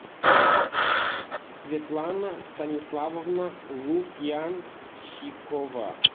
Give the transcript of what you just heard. светлана станиславовна лукьянчикова